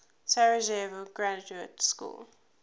sarajevo graduate school